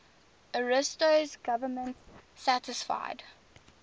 ariosto's government satisfied